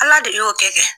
Ala de y'o kɛ